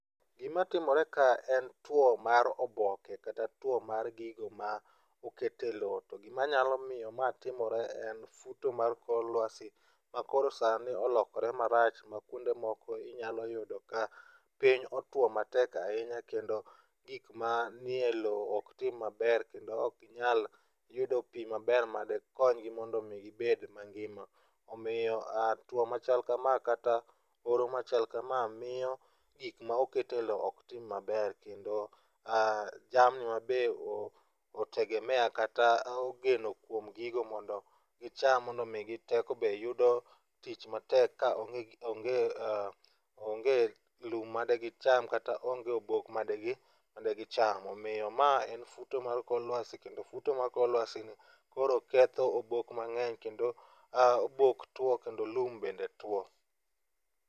Gimatimore kaa en tuo mar oboke kata two mar gigo ma oket e lowo to gima nyalo miyo mae timore en futo mar kor luasi makoro sani olokore marach ma kuonde moko inyalo yudo ka piny otuo matek ahinya kendo gik manie lowo ok tim maber kendo ok ginyal yudo pi maber madikonygi mondo gibed mangima omiyo tuo machal kama kata oro machal kama miyo gik ma oket e lowo ok tim maber kendo jamni ma be otegemea kata ogeno kuom gigo mondo gicham mondo omigi teko be yudo tich matek ka onge onge lum ma digicham kata onge obok madigi madigi cham omiyo mae en futo mar kor luasi kendo futu mar kor luasini koro ketho obok mang'eny kendo obok tuo kendo lum bende two.